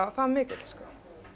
það mikill sko þú